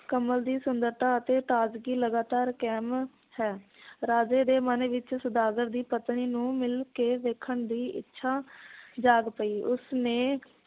ਕਮਲ ਦੀ ਸੁੰਦਰਤਾ ਅਤੇ ਤਾਜ਼ਗੀ ਲਗਾਤਾਰ ਕਾਇਮ ਹੈ ਰਾਜੇ ਦੇ ਮਨ ਵਿਚ ਸੌਦਾਗਰ ਦੀ ਪਤਨੀ ਨੂੰ ਮਿਲ ਕੇ ਵੇਖਣ ਦੀ ਇੱਛਾ ਜਾਗ ਪਈ ਉਸ ਨੇ